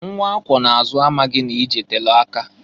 Nnwa akwụọ n'azụ amaghị n'ije telu aka.